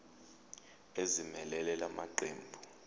ezimelele la maqembu